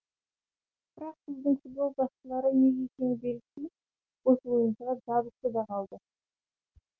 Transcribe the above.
бірақ біздің футбол басшылары неге екені белгісіз осы ойыншыға жабысты да қалды